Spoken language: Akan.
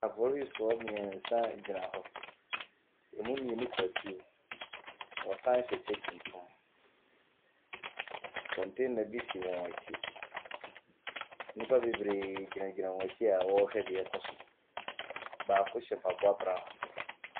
Apolisifoɔ mmeɛnsa gyina hɔ. Ɛmu mmienu kura tuo. Wɔsane hyɛ kyɛ tuntum. Container bi si wɔn akyi. Nnipa bebree gyinagyina wɔn akyi a wɔrehwɛ deɛ ɛrekɔ so. Baako hyɛ mpaboa brown.